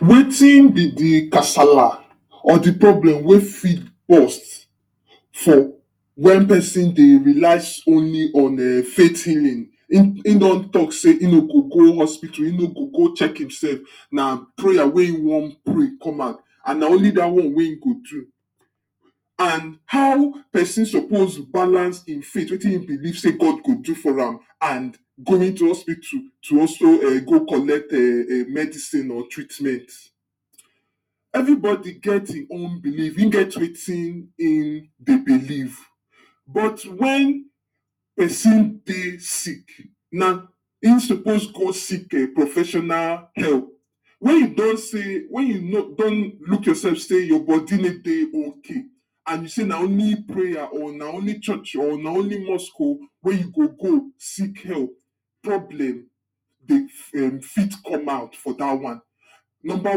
wetin be de casala or the problem wey fit burst for when person dey relax only on fait healing, e don talk sey e no go go hospital e no go go check himself na prayer wey e wan pray come out and na only da one wey e go do and how person suppose balance im faith wetin him belief sey God go do foram and going to hospital to also um go collect um medicine or treatment every bodi geh e own belief hin get wetin hin dey belief but when person dey sick na him suppose go seek e professional help wey you don see wey you don know sey we you don look yourself sey your body need dey OK and you sey na only prayer or na only church o or na only mosque o wey you go go seek help problem dey fih fit come out for da one number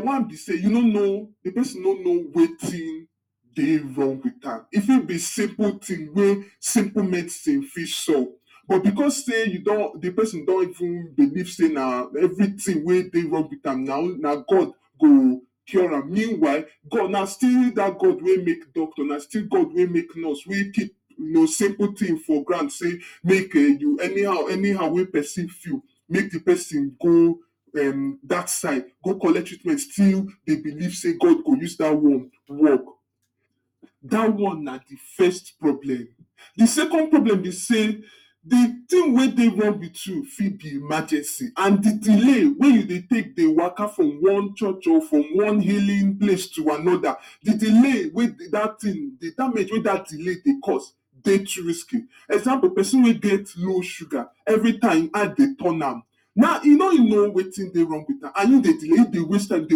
one be sey you no know the person no know wetin dey wrong with am e fit be simple thing wey simple medicine fit solve but because sey you don, the person don even belief sey na everything wey dey wrong with am na god go cure am mean while na still god make dat doctor na still god make nurse wey keep no simple thing for ground sey make you any-how any-how wey person feel make the person go dat side go collect treatment make the person still dey belief sey god go use da one work da one na the first problem, the second problem be sey the thing wey dey wrong with you fit be emergency and the delay wey you dey take dey waka from one church o from one healing place to another the delay wey da thing, the damage wey da delay dey cause dey too risky, example person wey get low sugar every time him eye dey turn am na e no know wetin dey wrong with am and you dey delay, you dey waste time you dey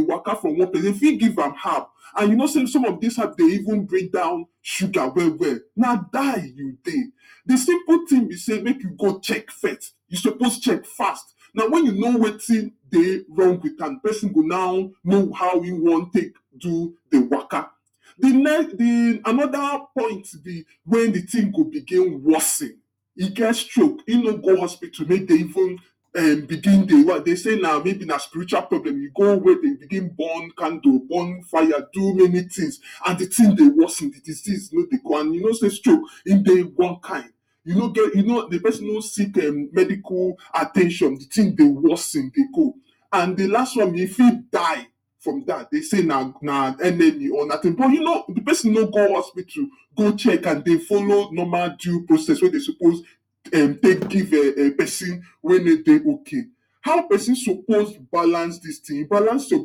waka from one, dey fit give am herb and you know sey some of dis herb dey even bring down suger well well na die you dey, the simple thing be sey make you go check first, you suppose check fast na when you know wetin dey wrong with am the person go now know how you wan take do the waka the nex..... the...another point be when the thing go became worsen e get sroke e no go hospital mey dey even eee begin dey one dey sey na may be na spiritual problem you go where dey begin burn candle burn fire do many things and the thing dey worsen and you know sey stroke e dey one kind e no get the person no sick e medical at ten tion the thing dey worsen dey go and the las one e fit die from dat dem sey na enemy but you know the person go hospital go go checkam dey folow normal due process wey dey suppose uhm take give um person wey no dey ok how person suppose balance dis thing balance your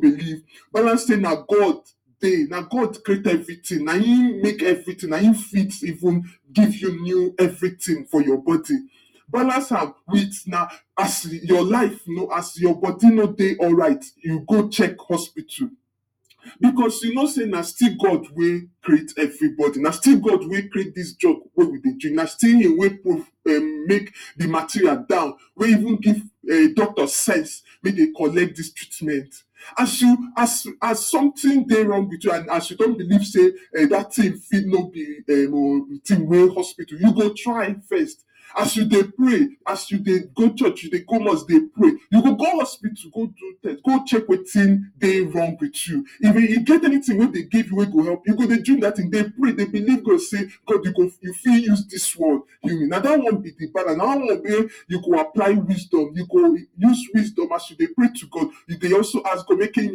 believe balance sey na god dey, na god create everything nayin make everything nayin fit even give you new everything for your body balance am with na as your life as your body no dey alright you go check hospital because you know sey na still god wey create every body na still god wey create dis job wey we dey do na still him wey proof[um]make the material down wey even give doctor sense make dey collect dis treatment as as something dey wrong with you as you come belief sey dat thing fit no be um thing wey hospital you go try first as you dey pray as you dey go church dey come house dey pray you go go hospital go do test go check wetin dey wrong with you if hin get anything wey dey give you wey dey help you go dey drink dat thing then pray dey believe god sey god you fit use dis wan heal me na da one be the balan na da one wey you go apply wisdom you go use wisdom as you dey pray to god you dey also ask god make him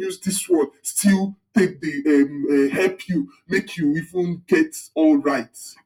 use dis word still make take dey help you make you even get alright